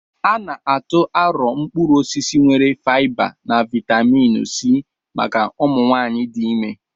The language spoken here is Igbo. A na-atụ arọ̀ mkpụrụ osisi nwere faịba na vaịtamịn C maka ụmụ nwanyị dị ime.